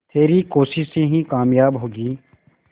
तेरी कोशिशें ही कामयाब होंगी